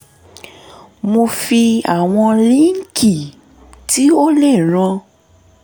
mo fi àwọn líǹkì tí ó lè ràn